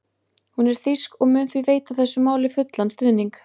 Hún er þýsk og mun því veita þessu máli fullan stuðning.